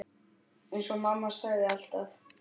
Eins og mamma sagði alltaf.